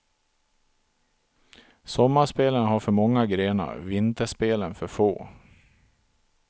Sommarspelen har för många grenar, vinterspelen för få.